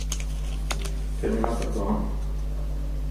терминатор два